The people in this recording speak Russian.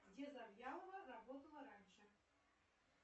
где завьялова работала раньше